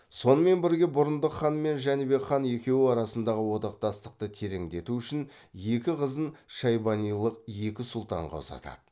сонымен бірге бұрындық хан мен жәнібек хан екеуі арасындағы одақтастықты тереңдету үшін екі қызын шайбанилық екі сұлтанға ұзатады